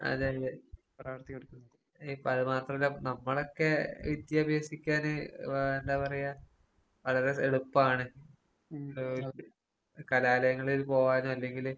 അതെ അതെ ഇപ്പതുമാത്രവല്ല നമ്മളൊക്കെ വിദ്യ അഭ്യസിക്കാന് വാ എന്താ പറയാ വളരെ എളുപ്പാണ് കലാലയങ്ങളിൽ പോകാനോ അല്ലെങ്കില്